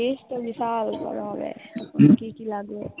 list যে তো বিশাল বড় হবে। কি কি লাগবে